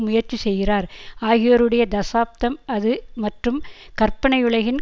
முயற்சி செய்கிறார் ஆகியோருடைய தசாப்தம் அது மற்றும் கற்பனையுலகின்